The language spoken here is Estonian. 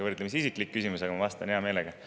Võrdlemisi isiklik küsimus, aga ma vastan hea meelega.